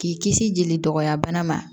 K'i kisi jeli dɔgɔya bana ma